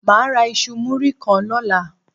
Má a ra iṣu muri kan lóla